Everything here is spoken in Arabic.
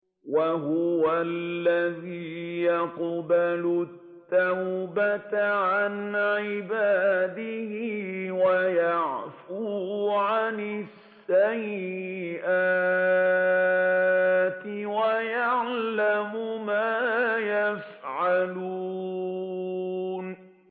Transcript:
وَهُوَ الَّذِي يَقْبَلُ التَّوْبَةَ عَنْ عِبَادِهِ وَيَعْفُو عَنِ السَّيِّئَاتِ وَيَعْلَمُ مَا تَفْعَلُونَ